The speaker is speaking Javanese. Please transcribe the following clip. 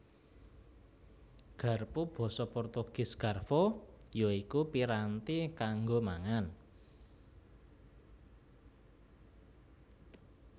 Garpu Basa Portugis Garfo ya iku piranti kanggo mangan